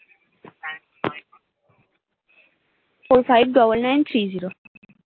four -five -double nine -three -zero